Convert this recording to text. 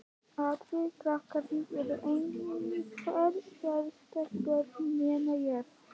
Allir krakkarnir eru einhver sérstök börn, nema ég.